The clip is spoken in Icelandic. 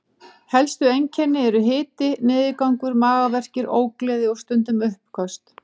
Helstu einkennin eru hiti, niðurgangur, magaverkir, ógleði og stundum uppköst.